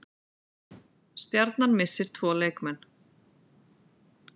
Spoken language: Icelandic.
Stjarnan missir tvo leikmenn